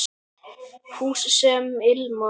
Hús sem ilma